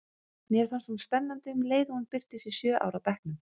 Mér fannst hún spennandi um leið og hún birtist í sjö ára bekknum.